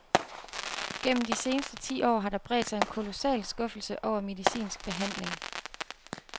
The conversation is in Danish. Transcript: Gennem de seneste ti år har der bredt sig en kolossal skuffelse over medicinsk behandling.